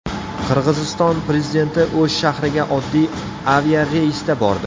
Qirg‘iziston prezidenti O‘sh shahriga oddiy aviareysda bordi .